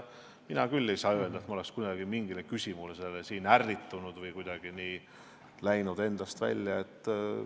Mina küll ei saa öelda, et ma oleksin kunagi mingi küsimuse peale ärritunud või kuidagi endast välja läinud.